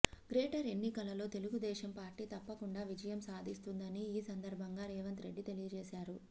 greater ఎన్నికలలో Telugu Desam party తప్పకుండా విజయం సాధిస్తుందని ఈ సందర్భంగా రేవంత్ రెడ్డి తెలియజేశారు